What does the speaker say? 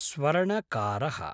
स्वर्णकारः